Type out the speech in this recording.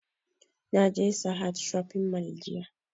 Na je sahad shopping mall jiya